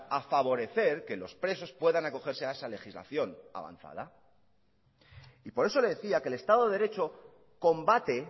a favorecer que los presos puedan acogerse a esa legislación avanzada y por eso le decía que el estado de derecho combate